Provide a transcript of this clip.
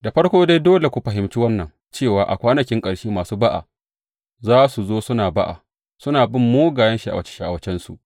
Da farko dai, dole ku fahimci wannan cewa a kwanakin ƙarshe masu ba’a za su zo suna ba’a, suna bin mugayen sha’awace sha’awacensu.